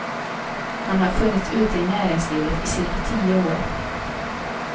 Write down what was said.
Han har funnits ute i näringslivet i cirka tio år.